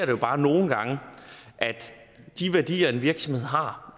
jo bare nogle gange at de værdier en virksomhed har